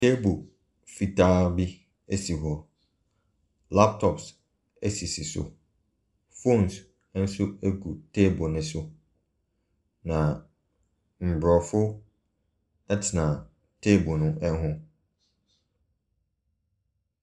Table fitaa bi si hɔ. Laptop si so. Phones nso gu table no so. Na Mborɔfo tena table no ho.